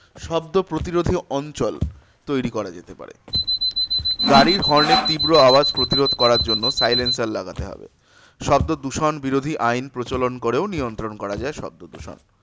শব্দ প্রতিরোধে অঞ্চল তৈরী করা যেতে পারে। গাড়ির horn এর তীব্র আওয়াজ প্রতিরোধ করার জন্য r লাগাতে হবে। শব্দদূষণ বিরোধী আইন প্রচলন করেও নিয়ন্ত্রণ করা যায় শব্দদূষণ।